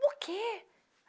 Por quê?